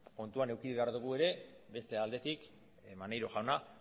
kontutan eduki behar dugu ere beste aldetik maneiro jauna